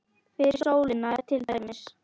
Fyrir sólina er til dæmis